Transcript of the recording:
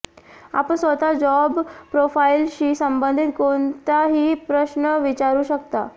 आपण स्वतः जॉब प्रोफाइलशी संबंधित कोणताही प्रश्न विचारू शकता